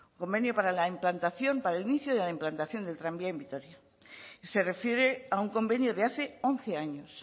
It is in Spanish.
convenio para el inicio de la implantación del tranvía en vitoria se refiere a un convenio de hace once años